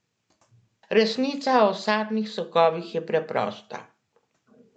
Resnica o sadnih sokovih je preprosta.